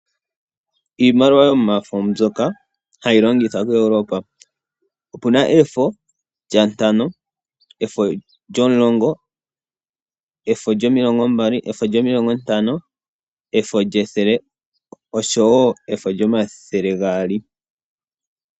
Iimaliwa yomafo mbyoka hayi longithwa koEuropa, opu na efo lyantano, efo lyomulongo, efo lyomilongo mbali, efo lyomilingo ntano, efo lyethele oshowo efo lyomathele gaali.